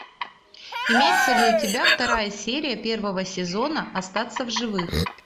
имеется ли у тебя вторая серия первого сезона остаться в живых